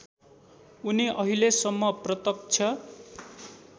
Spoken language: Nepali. उनी अहिलेसम्म प्रत्यक्ष